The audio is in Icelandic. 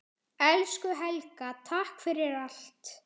Elsku Helga, takk fyrir allt.